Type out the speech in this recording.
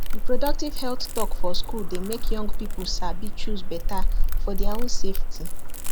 reproductive health talk for school dey make young people sabi choose better for their own safety